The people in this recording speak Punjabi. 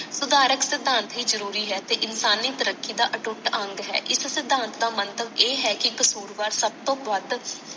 ਸੁਧਾਰਕ ਸਿਧਾਂਤ ਹੀ ਜਰੂਰੀ ਹੈ ਤੇ ਇਨਸਾਨੀ ਤਰੀਕਾ ਦਾ ਅਟੁੱਟ ਅੰਗ ਹੈ ਇਸ ਸਿਧਾਂਤ ਦਾ ਮਹਿਤਾਬ ਇਹ ਹੈ ਕਿ ਕਸੂਰਬਾਰ ਸਬ ਤੋਂ ਵਦ